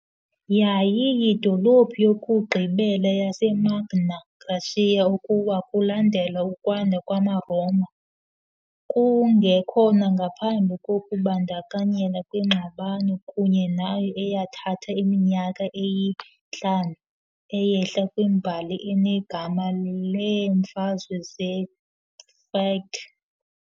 Yayiyidolophu yokugqibela yaseMagna Graecia ukuwa kulandela ukwanda kwamaRoma, kungekhona ngaphambi kokubandakanyeka kwingxabano kunye nayo eyathatha iminyaka eyi-5, eyehla kwimbali enegama leeMfazwe zePyrrhic .